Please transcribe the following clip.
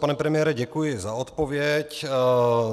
Pane premiére, děkuji za odpověď.